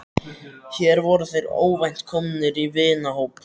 Hér voru þeir óvænt komnir í vinahóp.